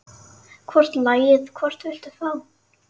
Hvort lagið, hvort viltu fá?